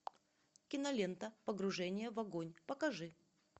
кинолента погружение в огонь покажи